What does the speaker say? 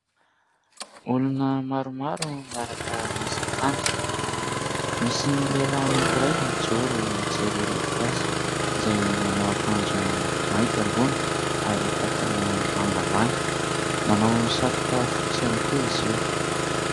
Olona maro maro miaraka miasa tany. Misy lehilahy anaky iray mijoro, mijery ireo mpiasa izay manao ankanjo mainty ambony ary pataloha manga ambany, manao satroka fotsy ihany koa izy io.